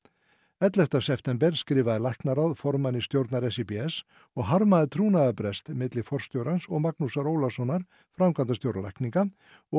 ellefta september skrifaði læknaráð formanni stjórnar og harmaði trúnaðarbrest milli forstjórans og Magnúsar Ólasonar framkvæmdastjóra lækninga og